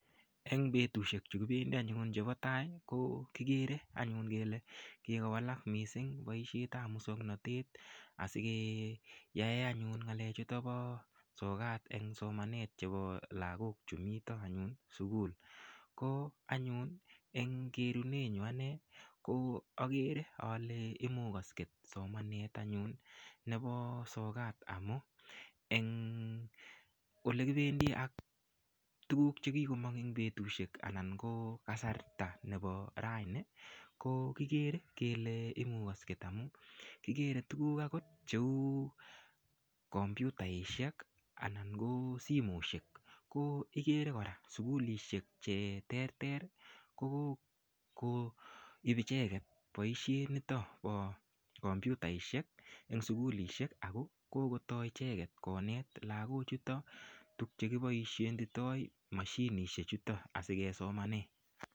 Eng petushek chukipendi anyun chepo tai ko kikere anyun kele kikowalak mising boishet ap musongnotet asikeyae anyun ngalechuto po sokat eng somanet chepo lakok chu mito anyun sukul ko anyun eng kerunenyu ane ko akere ale imukosket somanet anyun nepo sokat amu eng olekipendi ak tukuk chekikomong eng petushek anan ko kasarta nepo raini ko kikere kele imukosket amu kikere tukuk akot cheu computaishek anan ko simoshek ko kikere kora sukulishek che terter ko kokoip icheket boishet nito po computaishek eng sukulishek ako kokotoi icheket konet lakochuto tukche kiboishenditoi mashinishek chuto asikesomane.